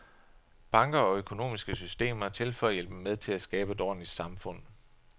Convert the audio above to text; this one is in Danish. Banker og økonomiske systemer er til for at hjælpe med at skabe et ordentligt samfund.